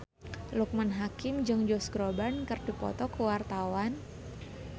Loekman Hakim jeung Josh Groban keur dipoto ku wartawan